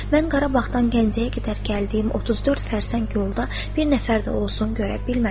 Mən Qarabağdan Gəncəyə qədər gəldiyim 34 fərsəng yolda bir nəfər də olsun görə bilmədim.